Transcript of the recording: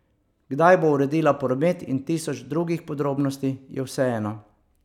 Kdaj bo uredila promet in tisoč drugih podrobnosti, je vseeno.